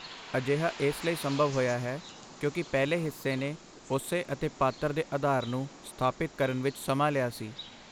ਅਜਿਹਾ ਇਸ ਲਈ ਸੰਭਵ ਹੋਇਆ ਹੈ ਕਿਉਂਕਿ ਪਹਿਲੇ ਹਿੱਸੇ ਨੇ ਉਸੇ ਅਤੇ ਪਾਤਰ ਦੇ ਆਧਾਰ ਨੂੰ ਸਥਾਪਿਤ ਕਰਨ ਵਿੱਚ ਸਮਾਂ ਲਿਆ ਸੀ।